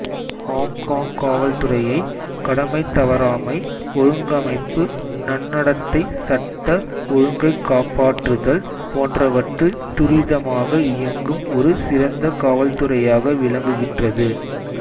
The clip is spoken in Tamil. ஹொங்கொங் காவல்துறையை கடமைத்தவறாமை ஒழுங்கமைப்பு நன்னடத்தை சட்ட ஒழுங்கைக்காப்பாற்றுதல் போன்றவற்றில் துரிதமாக இயங்கும் ஒரு சிறந்த காவல்துறையாக விளங்குகின்றது